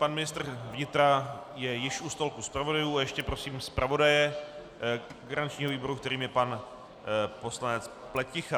Pan ministr vnitra je již u stolku zpravodajů a ještě prosím zpravodaje garančního výboru, kterým je pan poslanec Pleticha.